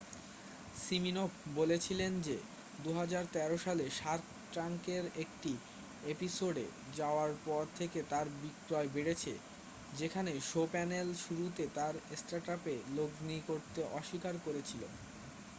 Siminoff বলেছিলেন যে 2013 সালে শার্ক ট্যাঙ্কের একটি এপিসোডে যাওয়ার পর থেকে তাঁর বিক্রয় বেড়েছে যেখানে শো-প্যানেল শুরুতে তার স্টার্টআপে লগ্নি করতে অস্বীকার করেছিল